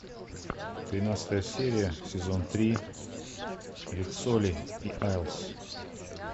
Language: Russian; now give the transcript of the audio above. тринадцатая серия сезон три риццоли и айлс